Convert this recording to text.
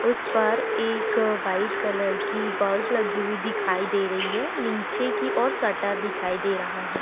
उस पर एक वाइट कलर की बल्ब लगी हुई दिखाई दे रही है। नीचे की ओर शटर दिखाई दे रहां हैं।